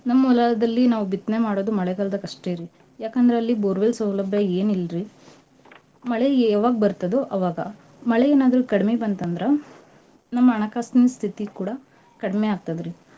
ನಮ್ ಹೊಲದಲ್ಲಿ ನಾವ್ ಬಿತ್ನೇ ಮಾಡೋದು ಮಳೆಗಾಲ್ದಾಗಷ್ಟೇರಿ. ಯಾಕಂದ್ರೆ ಅಲ್ಲಿ borewell ಸೌಲಬ್ಯಾ ಏನ್ ಇಲ್ರಿ. ಮಳೆ ಎವಾಗ್ ಬರ್ತದೋ ಅವಾಗ. ಮಳೆ ಏನಾದ್ರೂ ಕಡಮಿ ಬಂತಂದ್ರ ನಮ್ ಹಣಕಾಸಿನ್ ಸ್ತಿತಿ ಕೂಡ ಕಡ್ಮೆ ಆಗ್ತದ್ರಿ.